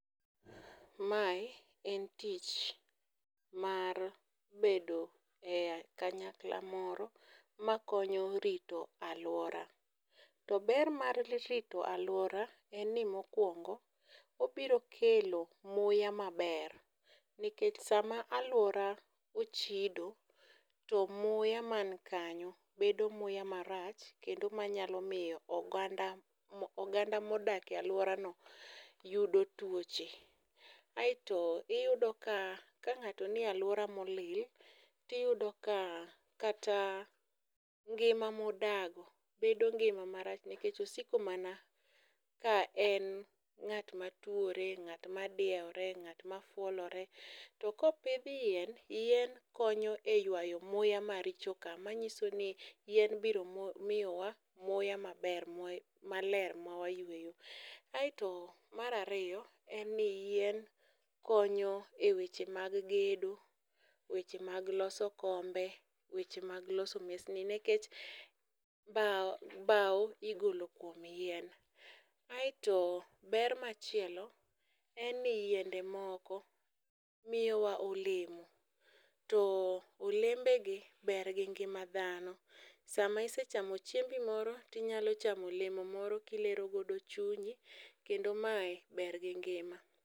Mae en tich mar bedo e kanyakla moro makonyo rito alwora. To ber mar rito alwora en ni mokwongo obiro kelo muya maber. Nikech sama alwora ochido, to muya man kanyo bedo muya marach kendo manyalo miyo oganda mo, oganda modake alwora no yudo tuoche. Aeto iyudo ka kang'ato niye alwora molil tiyudo ka kata ngima modago bedo ngima marach nikech osiko mana ka en ng'at matuore, ng'at ma dieore, ng'at ma fuolore. To kopidh yien, yien konyo e ywayo muya maricho ka. manyiso ni yien biro miyowa muya maber, maler ma wayueyo. Aeto marariyo, en ni yien konyo e weche mag gedo, weche mag loso kombe, weche mag loso mesni. Nekech bao, bau igolo kuom yien. Aeto ber machielo en ni yiende moko miyowa olemo, to olembe gi ber gi ngima dhano. Sama isechamo chiembi moro tinyalo chamo olemo moro kilero godo chunyi, kendo mae ber gi ngima.